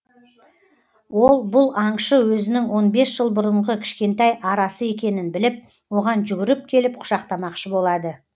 ол бұл аңшы өзінің он бес жыл бұрынғы кішкентай арасы екенін біліп оған жүгіріп келіп құшақтамақшы болады